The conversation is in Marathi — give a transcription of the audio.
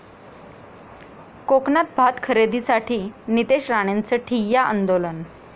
कोकणात भात खरेदीसाठी नितेश राणेंचं ठिय्या आंदोलन